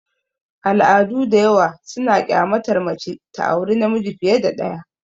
Al'adu da yawa suna kyamatar mace ta aure namiji fiye da ɗaya.